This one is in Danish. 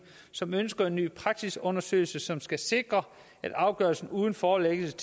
som ønsker en ny praksisundersøgelse som skal sikre at afgørelserne uden forelæggelse